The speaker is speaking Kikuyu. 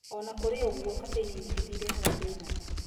Ona kũrĩ ũguo caffeini nyingĩ nĩ ĩrehaga thĩna.